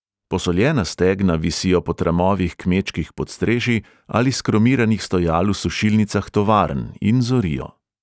Posoljena stegna visijo po tramovih kmečkih podstrešij ali s kromiranih stojal v sušilnicah tovarn in zorijo.